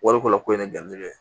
Wari ko la ko in ne garijɛgɛ ye